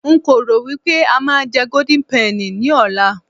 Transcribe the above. nko ro wipe a ma je golden penny ní ọlá